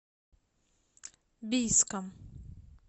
бийском